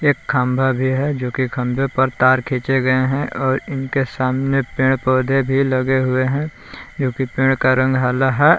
एक खंबा भी है जो की खंभे पर तार खींचे गए है और इनके सामने पेड़ पौधे भी लगे हुए है जोकि पेड़ का रंग हला है।